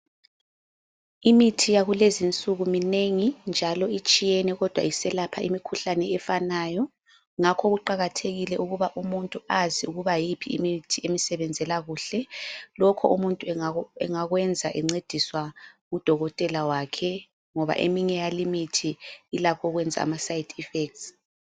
Imithi yakulezinsuku minengi njalo itshiyene kodwa iselapha imikhuhlane efanayo, ngakho kuqakathekile ukuba umuntu azi ukuba yiphi imithi emsebenzela kuhle. Lokho umuntu engakwenza encediswa ngudokotela wakhe, ngoba eminye yalimithi ilakho ukwenza amaside effects.